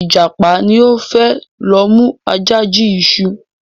Ìjàpá ni o fẹ lo mu Aja jí iṣu